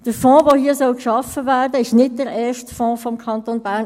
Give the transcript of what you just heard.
Der Fonds, der hier geschaffen werden soll, ist nicht der erste Fonds des Kantons Bern.